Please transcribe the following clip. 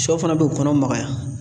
Sɔ fana b'u kɔnɔ magaya